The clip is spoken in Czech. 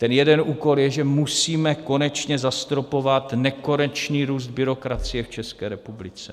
Ten jeden úkol je, že musíme konečně zastropovat nekonečný růst byrokracie v České republice.